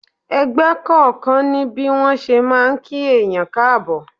Ẹgbẹ́ kọ̀ọ̀kan ní bí wọn ṣe máa ń kí èèyàn káàbọ̀.